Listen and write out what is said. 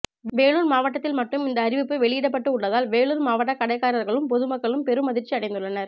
வேலூர் மாவட்டத்தில் மட்டும் இந்த அறிவிப்பு வெளியிடப்பட்டு உள்ளதால் வேலூர் மாவட்ட கடைக்காரர்களும் பொதுமக்களும் பெரும் அதிர்ச்சி அடைந்துள்ளனர்